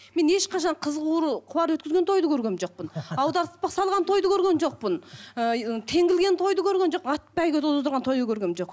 мен ешқашан қыз қуар өткізген тойды көрген жоқпын аударыспақ салған тойды көрген жоқпын ы теңге ілген тойды көрген жоқпын ат бәйге де тойды көргенім жоқ